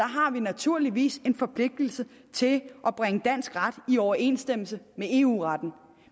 har vi naturligvis en forpligtigelse til at bringe dansk ret i overensstemmelse med eu retten